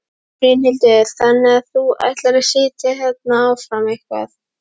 Brynhildur: Þannig að þú ætlar að sitja þarna áfram eitthvað?